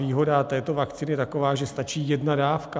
Výhoda této vakcíny je taková, že stačí jedna dávka.